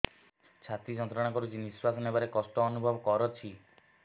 ଛାତି ଯନ୍ତ୍ରଣା କରୁଛି ନିଶ୍ୱାସ ନେବାରେ କଷ୍ଟ ଅନୁଭବ କରୁଛି